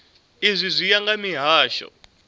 izwi zwi ya nga mihasho